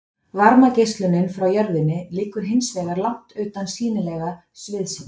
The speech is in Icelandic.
Varmageislunin frá jörðinni liggur hins vegar langt utan sýnilega sviðsins.